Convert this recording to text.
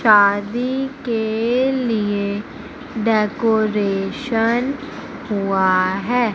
शादी के लिए डेकोरेशन हुआ है।